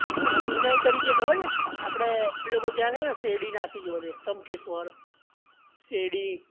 એક ઉનાઇ કરી ને છે ખબર છે? આપડે પેલું ત્યાં છે ને તમે ત્યાં છે ને શેર ડી નાસીક એ બધે, ત્ર્યંબકેશ્વર શે રડી